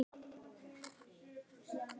Þín Hafdís.